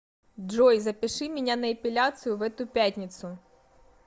джой запиши меня на эпиляцию в эту пятницу